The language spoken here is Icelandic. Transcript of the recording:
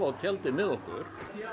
tjaldið með okkur